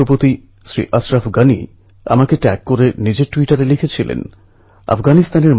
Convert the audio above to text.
বিগত দিনে এই রকমই একটি প্রাকৃতিক বিপর্যয় পুরো বিশ্বের মনযোগ আকর্ষণ করেছে